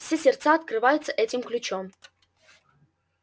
все сердца открываются этим ключом